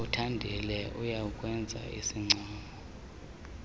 uthandile uyawukwenza isincomo